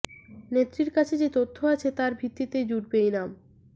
নেত্রীর কাছে যে তথ্য আছে তার ভিত্তিতেই জুটবে ইনাম